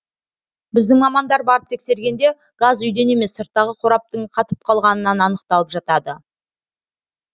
біздің мамандар барып тексергенде газ үйден емес сырттағы қораптың қатып қалғанынан анықталып жатады